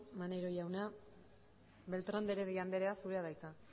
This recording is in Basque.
maneiro jauna beltrán de heredia andrea zurea da hitza